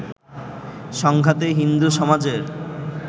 সংঘাতে হিন্দু সমাজের